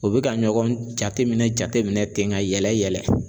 U bɛ ka ɲɔgɔn jateminɛ jateminɛ ten ka yɛlɛ yɛlɛ.